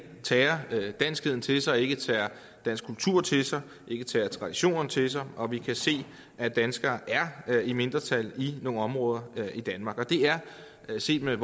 tager danskheden til sig ikke tager dansk kultur til sig ikke tager traditionerne til sig og vi kan se at danskerne er i mindretal i nogle områder i danmark det er set med